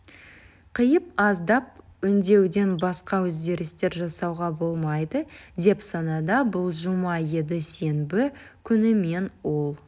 қиып аздап өңдеуден басқа өзгерістер жасауға болмайды деп санады бұл жұма еді сенбі күні мен ол